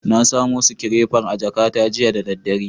Na samo sikirefar a jakata jiya da daddare.